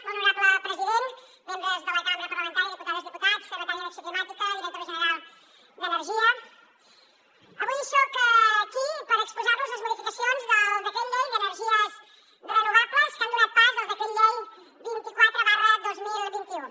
molt honorable president membres de la cambra parlamentària diputades diputats secretària d’acció climàtica directora general d’energia avui soc aquí per exposar los les modificacions del decret llei d’energies renovables que han donat pas al decret llei vint quatre dos mil vint u